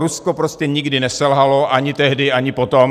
Rusko prostě nikdy neselhalo, ani tehdy, ani potom.